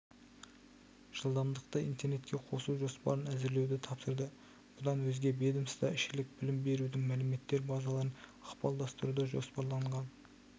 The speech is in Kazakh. жылдамдықты интернетке қосу жоспарын әзірлеуді тапсырды бұдан өзге ведомствоішілік білім берудің мәліметтер базаларын ықпалдастыруды жоспарланған